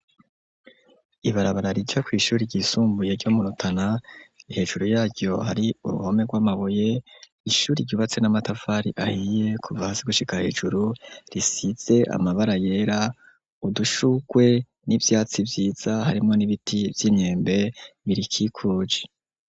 Ibarabara, rica kw’ishuri ryisumbuye, ryo mu Rutana, hejuru yaryo, hari uruhome rw'amabuye; ishuri, ryubatse n'amatafari ahiye, kuva hasi, gushika hejuru, risize amabara yera; udushurwe, n'ivyatsi vyiza, harimwo, n'ibiti vy'imyembe, birikikuje.